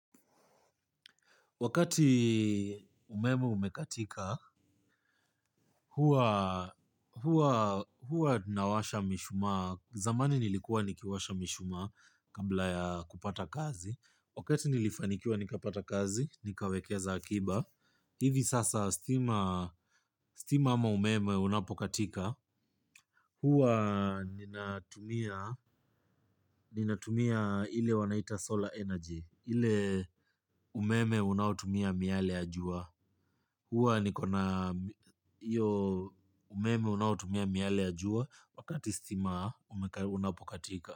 Wakati umeme umekatika, huwa tunawasha mishumaa. Zamani nilikuwa nikiwasha mishumaa kabla ya kupata kazi. Wakati nilifanikiwa nikapata kazi, nikawekeza akiba. Hivi sasa stima ama umeme unapokatika. Huwa ninatumia ile wanaita solar energy, ile umeme unaotumia miale ya jua. Huwa nikona hiyo umeme unaotumia miale ya jua wakati stima unapokatika.